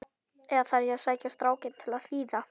Eða þarf ég að sækja strákinn til að þýða?